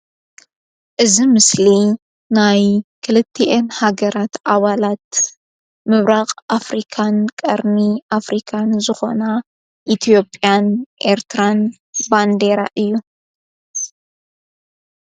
እዝ ምስሊ ናይ ክልቲ ኤን ሃገራት ኣዋላት ምብራቕ ኣፍሪካን ቀርሚ ኣፍሪካን ዝኾና ኢትኦጵያን ኤርትራን ባንኔራ እዩ።